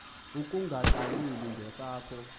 akunge qaleli ngesakho